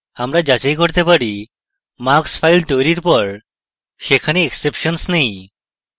আমরা যাচাই করতে পারি marks file তৈরীর পর সেখানে exceptions নেই